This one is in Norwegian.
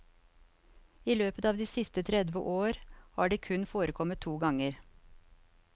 I løpet av de siste tredve år har det kun forekommet to ganger.